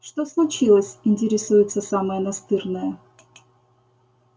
что случилось интересуется самая настырная